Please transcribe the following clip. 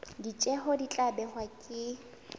ditjeo di tla behwa ke